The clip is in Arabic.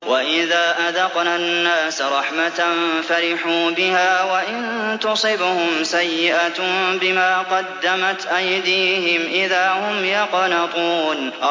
وَإِذَا أَذَقْنَا النَّاسَ رَحْمَةً فَرِحُوا بِهَا ۖ وَإِن تُصِبْهُمْ سَيِّئَةٌ بِمَا قَدَّمَتْ أَيْدِيهِمْ إِذَا هُمْ يَقْنَطُونَ